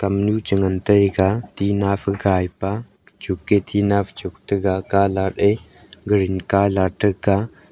lamnu che ngan taega tina fu kaipa chu ke tina fai chuk tega colour ae green colour taga.